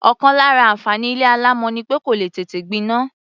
Ọ̀kan lára àǹfààní ilé alámọ̀ ni pé kò lè tètè gbiná.